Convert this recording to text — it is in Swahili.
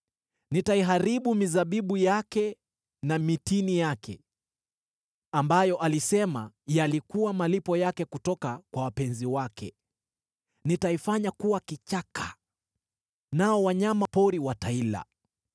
Nitaiharibu mizabibu yake na mitini yake, ambayo alisema yalikuwa malipo yake kutoka kwa wapenzi wake; nitaifanya kuwa kichaka, nao wanyama pori wataila.